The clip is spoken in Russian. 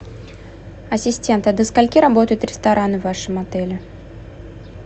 ассистент а до скольки работают рестораны в вашем отеле